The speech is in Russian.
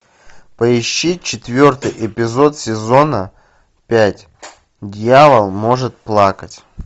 поищи четвертый эпизод сезона пять дьявол может плакать